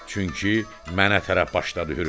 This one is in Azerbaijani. Çünki mənə tərəf başladı hürməyə.